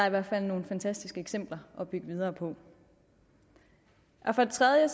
i hvert fald nogle fantastiske eksempler at bygge videre på for det tredje